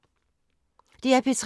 DR P3